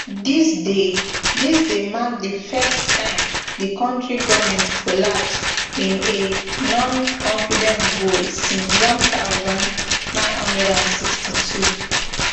dis dey dis dey mark di first time di kontri govment collapse in a noconfidence vote since one thousand, nine hundred and sixty-two